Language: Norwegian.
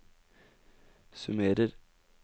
summerer